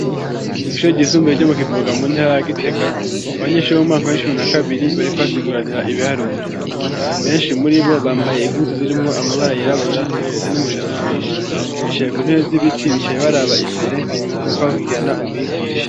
Kw'isho ryisumbuye ryo mu kivuga mu ntaragitega abanyenshure mu maka mensi umuna kabiri bariko basiguranira ibiharuro benshi muri bo bambaye impuzu zirimwo amabara yirabura bafise n'umushatsi mwinshi bicaye ku ntewe z'ibiti bicaye baraba imbere akobakikirana umwigisha.